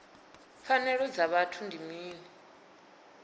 pfanelo dza vhuthu ndi mini